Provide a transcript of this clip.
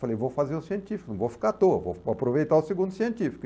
Falei, vou fazer o científico, não vou ficar à toa, vou aproveitar o segundo científico.